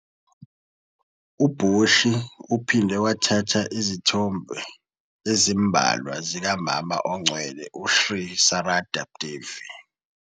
U-Boshi uphinde wathatha izithombe ezimbalwa zikaMama Ongcwele u- Sri Sarada Devi.